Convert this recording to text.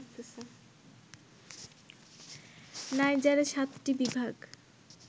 নাইজারে ৭টি বিভাগ